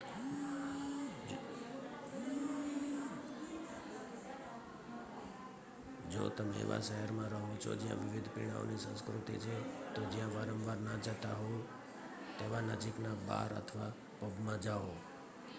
જો તમે એવા શહેરમાં રહો છો જ્યાં વિવિધ પીણાઓની સંસ્કૃતિ છે તો જ્યાં વારંવાર ના જતાં હોવ તેવા નજીકના બાર અથવા પબમાં જાઓ